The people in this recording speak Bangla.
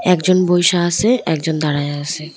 একজন বইসা আসে একজন দাঁড়ায়া আসে।